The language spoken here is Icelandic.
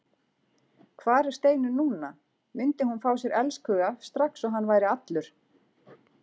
Hvar var Steinunn núna, myndi hún fá sér elskhuga strax og hann væri allur?